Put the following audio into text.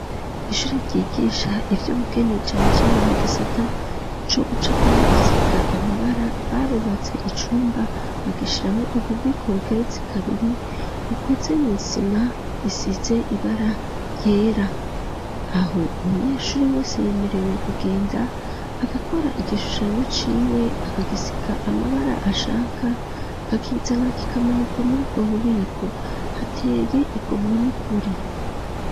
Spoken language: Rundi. Ishure ryigisha ivyo bugeni cane cane mu gisata c'o bucapa no guzika amabara, barubatse icumba bagishiramo ububiko bugeretsi kabiri ukoze mu isima isize ibara ryera, aho umunyeshuri wese yemerewe kugenda agakora igishushanyo c'iwe akagisiga amabara ashaka agakizana k'ikamanikwa muri ubwo bubiko, hateye ikomwe n'ukuri.